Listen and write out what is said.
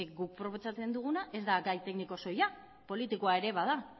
guk proposatzen duguna ez da gai tekniko soila politikoa ere bada